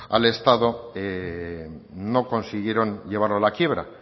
al estado no consiguieron llevarlo a la quiebra